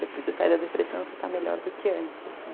Depois você sai da depressão, você está melhor do que antes,